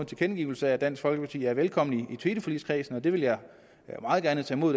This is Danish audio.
tilkendegivelse af at dansk folkeparti er velkommen i teleforligskredsen det vil jeg meget gerne tage